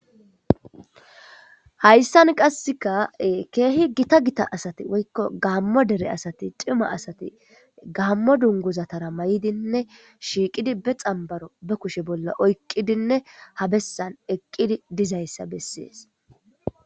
Hayssan qasseka keehi gita gita asati woykko gaammo dere asati cima asati gaammo dunguzatara may'idinne shiiqidi be xambaro be kushe bolla oyqqidinne ha bessan eqqidi dizayssa bessees